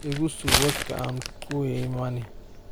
Ikusuug wadka aan kula imani.